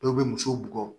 Dɔw bɛ musow bugɔ